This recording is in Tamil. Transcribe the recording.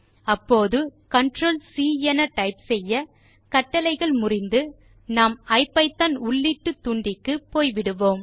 அப்போது ctrl சி டைப் செய்ய கட்டளை முறிந்து நாம் ஐபிதான் உள்ளீட்டுத்தூண்டிக்கு போய் விடுவோம்